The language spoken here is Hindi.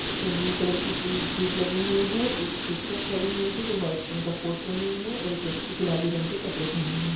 इसमें ब्लू कलर की पूरी सीट लगी हुई है एक सिस्टर खड़ी हुई है जो व्हाइट रंग का कोट पहनी है और एक व्यक्ति गुलाबी रंग के कपड़े पहने हुए हैं।